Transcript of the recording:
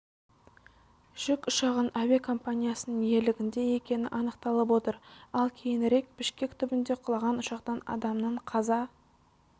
жүк ұшағының әуе компаниясының иелігінде екені анықталып отыр ал кейінірекбішкек түбінде құлаған ұшақтан адамның қаза